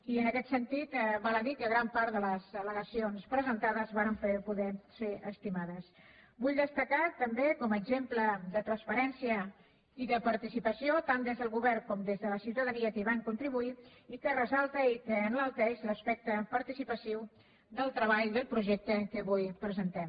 i en aquest sentit val a dir que gran part de les al·vull destacar també com a exemple de transparència i de participació tant des del govern com des de la ciutadania que hi van contribuir i que fa ressaltar i enalteix l’aspecte participatiu del treball del projecte que avui presentem